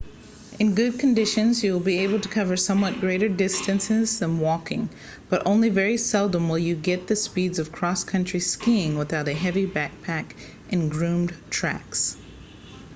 in good conditions you will be able to cover somewhat greater distances than walking but only very seldom you will get the speeds of cross country skiing without a heavy backpack in groomed tracks